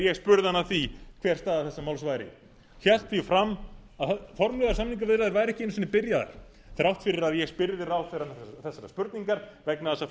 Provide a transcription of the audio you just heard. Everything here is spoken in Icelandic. ég spurði hann að því hver staða þessa máls væri hélt því fram að formlegar samningaviðræður væru ekki einu sinni byrjaðar þrátt fyrir að ég spyrði ráðherrann þessarar spurningar vegna þess að